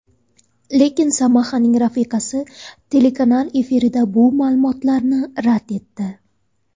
Lekin Samahaning rafiqasi telekanal efirida bu ma’lumotlarni rad etdi.